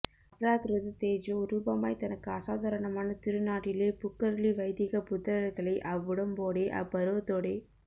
அப்ராக்ருத தேஜோ ரூபமாய் தனக்கு அசாதாரணமான திரு நாட்டிலே புக்கருளி வைதிக புத்திரர்களை அவ்வுடம்போடே அப்பருவத்தோடே